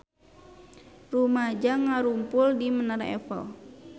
Rumaja ngarumpul di Menara Eiffel